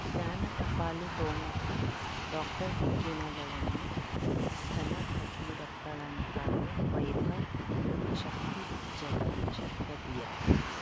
ಜ್ಞಾನ ಟಪಾಲು ಠೊಣಪ ಡಾಕ್ಟರ್ ಢಿಕ್ಕಿ ಣಗಳನು ಧನ ಫಕೀರಪ್ಪ ಳಂತಾನೆ ವೈಭವ್ ಯು ಶಕ್ತಿ ಝಗಾ ಷಟ್ಪದಿಯ